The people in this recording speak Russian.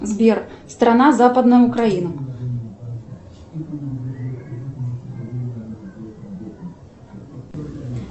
сбер страна западная украина